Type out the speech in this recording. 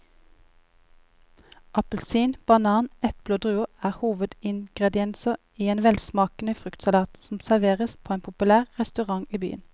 Appelsin, banan, eple og druer er hovedingredienser i en velsmakende fruktsalat som serveres på en populær restaurant i byen.